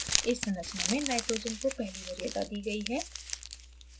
इस संरचना में nitrogen को पहली वरीयता दी गयी है